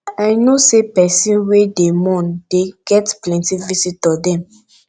i know sey pesin wey dey mourn dey get plenty visitor dem